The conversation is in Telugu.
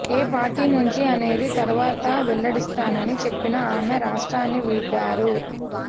ఏ పార్టీ నుంచి అనేది తర్వాత వెల్లడిస్తానని చెప్పిన ఆమె రాష్ట్రాన్ని వీడారు